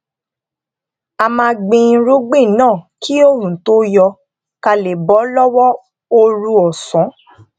a máa gbin irúgbìn náà kí oòrùn tó yọ ká lè bó lówó ooru òsán